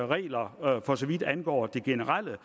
regler for så vidt angår det generelle